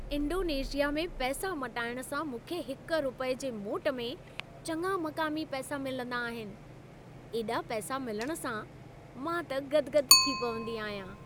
Indonesia में पैसा मटाइण सां मूंखे हिक रूपये जे मोट में चङा मक़ामी पैसा मिलंदा आहिनि। एॾा पैसा मिलण सां मां त गदि गदि थी पवंदी आहियां।